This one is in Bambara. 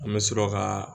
An bɛ sɔrɔ ka